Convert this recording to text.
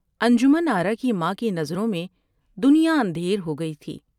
انجمن آرا کی ماں کی نظروں میں دنیا اندھیر ہوگئی تھی ۔